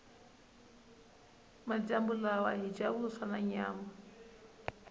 majambu lawa hhija vuswa nanyama